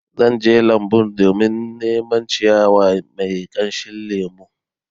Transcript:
Zan je lambun domin neman ciyawa mai kamshin lemo